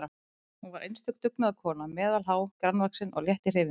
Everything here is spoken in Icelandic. Hún var einstök dugnaðarkona, meðalhá, grannvaxin og létt í hreyfingum.